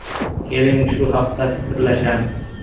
Keling, shu haqda fikrlashamiz.